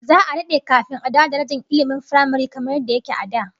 Za'a dade kafin a dawo da darajar ilmin firamare kamar yadda yake a da